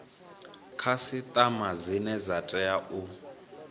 khasiṱama dzine dza tea u